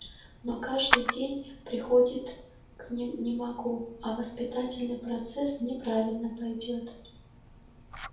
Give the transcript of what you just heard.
но каждый день приходит к ним не могу а воспитательный процесс неправильно пойдёт